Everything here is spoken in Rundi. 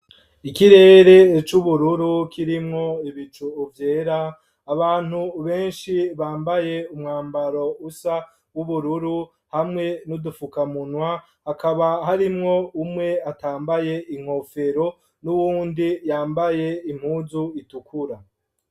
Ikirere c'ubururu kirimwo ibicu vyera, abantu benshi bambaye umwambaro usa w'ubururu hamwe n'udufukamunwa, hakaba harimwo umwe atambaye inkofero, n'uwundi yambaye impunzu itukura.